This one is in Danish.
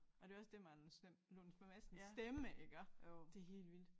Og det jo også med Anders Lund Madsens stemme iggå det helt vildt